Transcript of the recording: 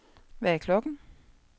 Hvad er klokken